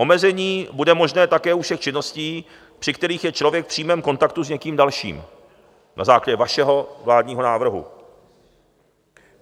Omezení bude možné také u všech činností, při kterých je člověk v přímém kontaktu s někým dalším, na základě vašeho vládního návrhu.